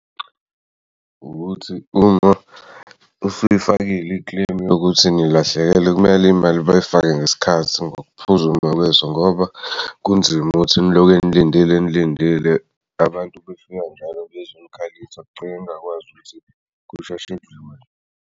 Ukuthi uma usuyifakile i-claim yokuthi ngilahlekelwe kumele imali bayifake ngesikhathi ngokuphuzuma kweso ngoba kunzima ukuthi niloko nilindile nilindile abantu befika njalo bezokhaliswa kugcine ningakwazi ukuthi kusheshe kudlule.